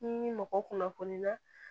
Ni mɔgɔ kunnafoniya